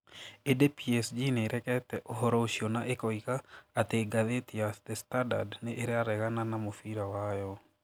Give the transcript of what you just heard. Ĩndĩ PSG nĩ ĩregete ũhoro ũcio na ĩkoiga atĩ ngathĩti ya The Standard nĩ ĩraregana na mũbira wayo.